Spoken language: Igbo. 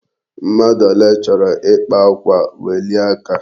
Mmadụ ole chọrọ ịkpa akwa, welie aka!